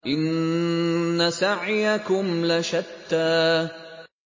إِنَّ سَعْيَكُمْ لَشَتَّىٰ